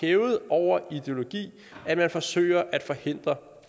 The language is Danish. hævet over ideologi at man forsøger at forhindre